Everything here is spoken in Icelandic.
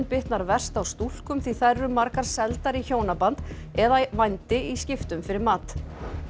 bitnar verst á stúlkum því þær eru margar seldar í hjónaband eða vændi í skiptum fyrir mat